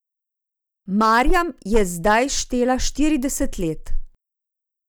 Marjam je zdaj štela štirideset let.